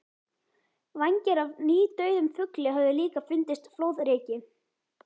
Vængir af nýdauðum fugli höfðu líka fundist flóðreki.